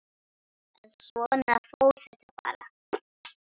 En svona fór þetta bara.